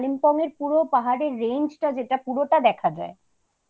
পুরো পাহাড়ের range যেটা পুরোটা দেখা যায়